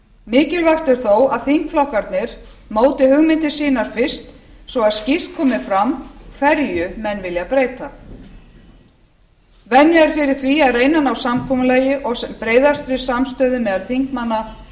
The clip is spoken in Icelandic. mikilvægt er þó að þingflokkarnir móti hugmyndir sínar fyrst svo að skýrt komi fram hverju menn vilja breyta venja er fyrir því að reyna að ná samkomulagi og sem breiðastri samstöðu meðal þingmanna um